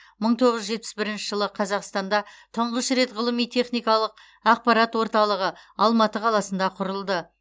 мың тоғыз жүз жетпіс бірінші жылы қазақстанда тұңғыш рет ғылыми техникалық ақпарат орталығы алматы қаласында құрылды